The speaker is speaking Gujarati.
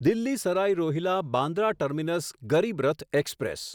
Delhi Sarai Rohilla Bandra terminus Garib Rath express